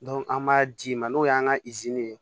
an b'a d'i ma n'o y'an ka